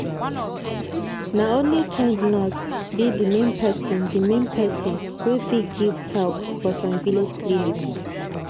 na only trained nurse be the main person the main person wey fit give help for some village clinic.